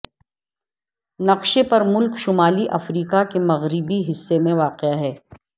نقشے پر ملک شمالی افریقہ کے مغربی حصے میں واقع ہے